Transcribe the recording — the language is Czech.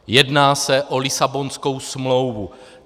Jedná se o Lisabonskou smlouvu.